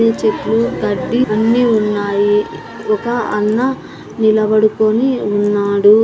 చెట్లు గడ్డి అన్ని ఉన్నాయి. ఒక అన్న నిలబడుకుని ఉన్నాడు.